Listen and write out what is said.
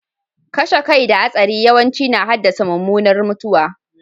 Kashe kai da hatsari yawanci na haddasa mummunar mutuwa.